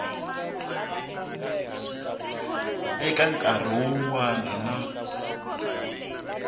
eka nkarhi wun wana na